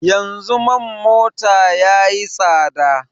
Yanzu man mota ya yi tsada